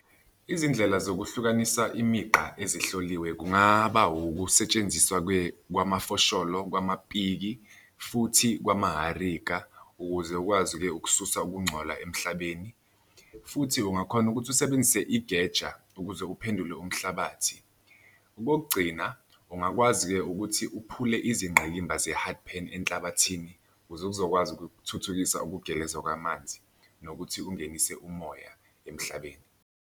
Izindlela zokuhlukanisa imigqa ezihloliwe kungaba ukusetshenziswa kwamafosholo kwamapiki, futhi kwamaharika ukuze ukwazi-ke ukususa ukungcola emhlabeni futhi ungakhona ukuthi usebenzise igeja ukuze uphendule umhlabathi. Okokugcina ungakwazi-ke ukuthi uphule izingqayimba ze-hard pan enhlabathini ukuze kuzokwazi ukuthuthukisa ukugeleza kwamanzi nokuthi ungenise umoya emhlabeni.